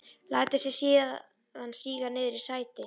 Lætur sig síðan síga niður í sætið.